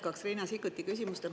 Ma jätkaks Riina Sikkuti küsimust.